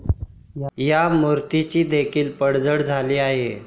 या मूर्तीची देखील पडझड झाली आहे.